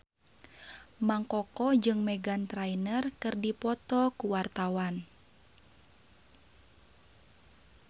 Mang Koko jeung Meghan Trainor keur dipoto ku wartawan